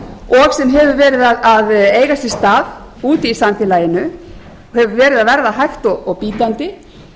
og sem hefur verið að eiga sér stað úti í samfélaginu hefur verið að verða hægt og bítandi